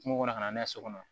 Kungo kɔnɔ ka na n'a ye so kɔnɔ